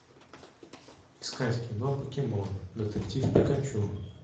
искать кино покемон детектив пикачу